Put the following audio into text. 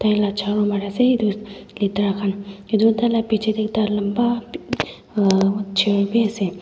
jharu marey ase etu letara khan etu taila bechidae ekta lamba uhh wa hair bhi ase.